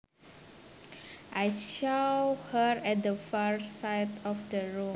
I saw her at the far side of the room